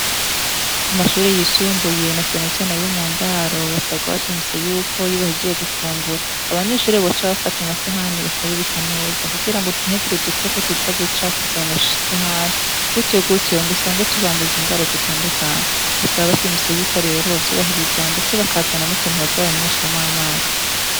Ku mashure yisumbuye na canecane yo mu ndaro basabwa abashimiso yuko yibahijiye gufungura abanyushure boca bafata amasahani bakayubika neza kugira ngo nhegire udukoko tuza gucafuzaye amasahani gutiyugutiwe ngo usange tubanduje ingoaro zitandukanye basaba abashimiso yuko rero ubo vyubahiriza, ndetse bakazana n'utuntu bazoranywe shamwe amazi.